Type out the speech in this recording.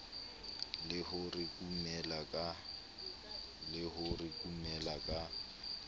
le ho re kumela ka